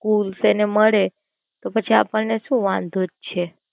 Schools એને મળે તો પછી આપણ ને શું વાંધો છે?